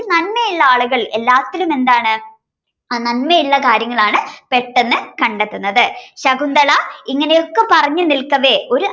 നന്മയുള്ള ആളുകൾ എല്ലാത്തിലും എന്താണ് നന്മയുള്ള കാര്യങ്ങളാണ് പെട്ടെന്ന് കണ്ടെത്തുന്നത് ശകുന്തള ഇങ്ങനെ ഒക്കെ പറഞ്ഞ് നിൽക്കവേ ഒരു